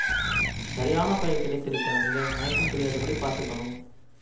சரியான பயல் கிடைத்திருக்கிறான் இவன் மயக்கம் தெளியாதபடி பார்த்துக்கணும்